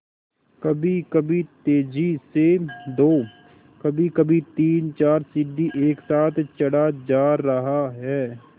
कभीकभी तेज़ी से दो कभीकभी तीनचार सीढ़ी एक साथ चढ़ा जा रहा है